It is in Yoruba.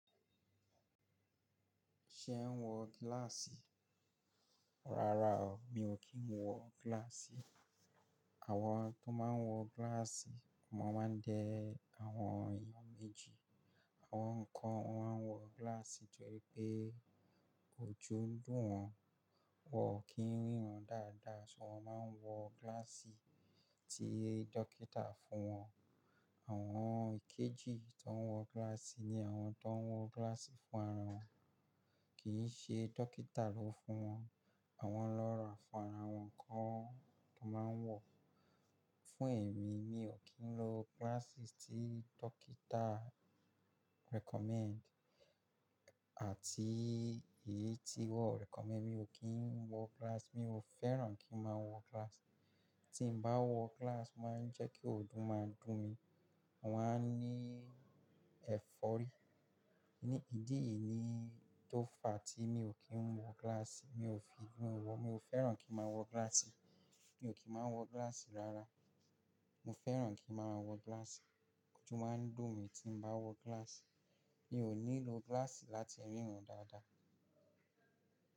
Ṣe ẹ ń wọ gíláàsì? Rárá o, mi ò kí ń wọ gíláàsì. Àwọn tó máa ń wọ gíláàsì máa ń dẹ àwọn èèyàn méjì. Àwọn kan wọ́n máa ń wọ gíláàsì torí pé ojú dùn wọ́n, wọ́n ò kí ń ríran dáadáa, ṣùgbọ́n wọ́n máa ń wọ gíláàsì tí dókítà fún wọn. Àwọn ìkejì tó ń wọ gíláàsì ni àwọn tó ń wọ gíláàsì fún ara wọn, kì í ṣe dókítà ló fún wọn. Àwọn lọ́ra fún ara wọn kọ́ tó máa ń wọ̀. Fún èmi, mi ò kí ń lo gíláàsì tí dókítà recommend àti èyí tí wọ́n recommend, mi ò kí ń wọ gíláàsì, mi ò fẹ́ràn kí máa wọ gíláàsì. Tí mo bá wọ gíláàsì máa ń jẹ́ kí ojú máa dùn mí, mo máa ní ẹ̀fọ́rí. Ní ìdí èyí ni tó fa tí mi ò kí ń wọ gíláàsì, mi ò fi wọ, mi ò fẹ́ràn kí máa wọ gíláàsì. Mi ò kí máa wọ gíláàsì rárá. Mo fẹ́ràn kí a máa wọ gíláàsì, ojú máa ń dùn mí tí mo bá wọ gíláàsì. Mi ò ní lo gíláàsì láti ríran dáadáa.